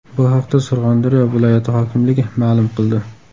Bu haqda Surxondaryo viloyati hokimligi ma’lum qildi .